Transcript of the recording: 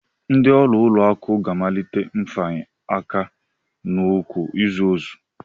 Ndị ọrụ ụlọakụ ga-amalite mfanye aka n'ụkwụ izu ọzọ